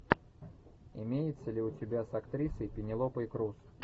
имеется ли у тебя с актрисой пенелопой крус